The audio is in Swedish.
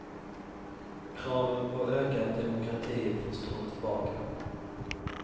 Kraven på ökad demokrati får stå tillbaka.